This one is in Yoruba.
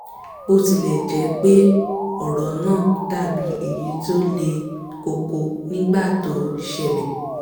bó tilẹ̀ jẹ́ pé ọ̀rọ̀ náà dàbí èyí tí ó le koko nígbà tó ṣẹlẹ̀